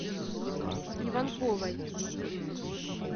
иванковой